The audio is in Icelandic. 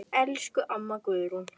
Elsku amma Guðrún.